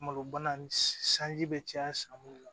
Malo bana ni sanji bɛ caya san mun na